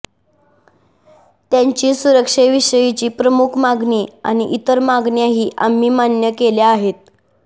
त्यांची सुरक्षेविषयीची प्रमुख मागणी आणि इतर मागण्याही आम्ही मान्य केल्या आहेत